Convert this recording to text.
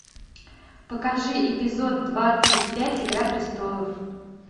покажи эпизод двадцать пять игра престолов